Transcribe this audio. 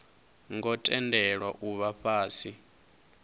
ngo tendelwa u vha fhasi